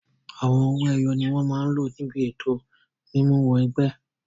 Àwọn owó ẹyọ ni wọn máa lò níbi ètò mímú wọ ẹgbẹ́.